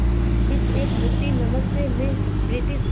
इस एक मुट्ठी नमक से मैं ब्रिटिश